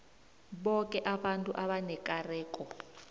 boke abantu abanekareko